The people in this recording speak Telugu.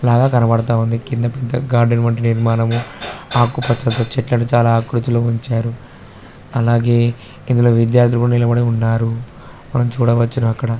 లాగా కనబడుతుంది కింద పెద్ద గార్డెన్ వంటి నిర్మాణం ఆకుపచ్చటి చెట్లు చాల ఆకృతిలో ఉంచారు అలాగే ఇందులో విద్యార్థులు కూడా నిలబడి ఉన్నారు మనం చూడవచ్చును అక్కడ.